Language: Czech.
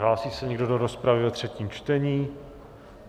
Hlásí se někdo do rozpravy ve třetím čtení?